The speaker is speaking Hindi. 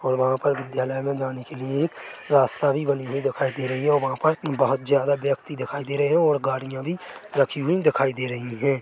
और वहाँ पर विद्यालय मे जाने के लिए एक रास्ता भी बनी हुई दिखाई दे रही है और वहाँ पर बहुत ज्यादा व्यक्ति दिखाई दे रहे है और गड़िया भी रखी हुई दिखाई दे रही है ।